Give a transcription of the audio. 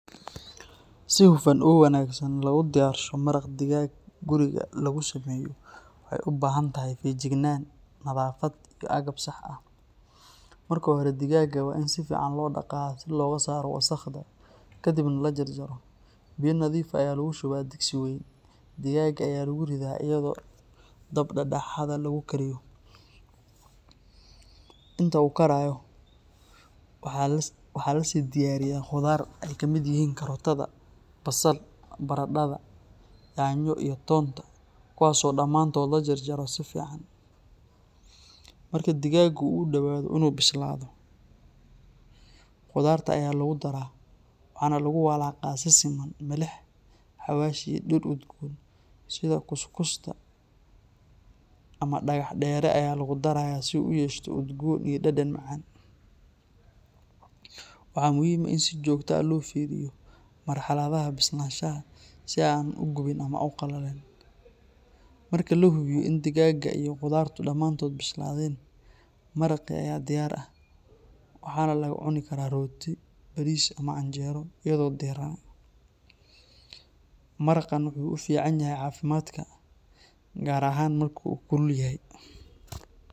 Si hufan oo wanaagsan loogu diyaarsho maraq digaag guriga lagu sameeyo waxa ay u baahan tahay feejignaan, nadaafad iyo agab sax ah. Marka hore digaagga waa in si fiican loo dhaqaa si looga saaro wasakhda, kadibna la jarjaro. Biyo nadiif ah ayaa lagu shubaa digsi wayn, digaagga ayaa lagu riddaa iyadoo dab dhexdhexaad ah lagu kariyo. Inta uu karayo waxaa la sii diyaariyaa khudaar ay kamid yihiin karootada, basal, baradhada, yaanyo iyo toonta, kuwaas oo dhammaantood la jarjaro si fiican. Marka digaaggu uu dhowaado in uu bislaado, khudaarta ayaa lagu daraa, waxaana lagu walaaqaa si siman. Milix, xawaash, iyo dhir udgoon sida kuskusta ama dhagaxdheere ayaa lagu darayaa si uu u yeesho udgoon iyo dhadhan macaan. Waxa muhiim ah in aan si joogto ah loo fiiriyo marxaladaha bislaanshaha si aan uu u gubin ama u qallalin. Marka la hubiyo in digaagga iyo khudaartu dhammaantood bislaadeen, maraqii ayaa diyaar ah, waxaana lagu cuni karaa rooti, bariis ama canjeero iyadoo diirran. Maraqan wuxuu u fiican yahay caafimaadka, gaar ahaan marka uu kulul yahay.